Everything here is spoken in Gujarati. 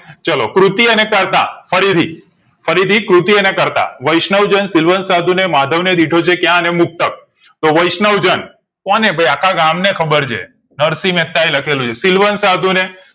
ચાલો કૃતિઓ અને કર્તા ફરીથી ફરીથી કૃતિઓ અને કર્તા વૈષ્ણવજન સિલવંત સાધુ માધવ ને દીઠો છે ક્યાં અને મૃતક તો વૈષ્ણવજન કોને ભઈ આખા ગામ ને ખબર છે નરશી મહેતા એ લખેલું છે સિલવંત સાધુ ને